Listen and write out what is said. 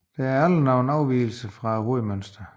Det er aldrig nogen afvigelse fra hovedmønsteret